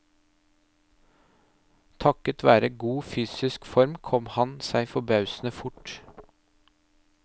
Takket være god fysisk form kom han seg forbausende fort.